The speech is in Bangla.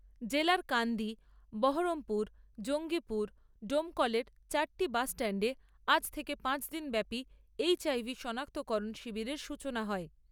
জেলার কান্দি, বহরমপুর, জঙ্গিপুর, ডোমকলের চারটি বাসস্ট্যাণ্ডে আজ থেকে পাঁচ দিন ব্যাপী এইচআইভি শনাক্তকরণ শিবিরের সূচনা হয়।